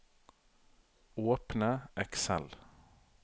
Åpne Excel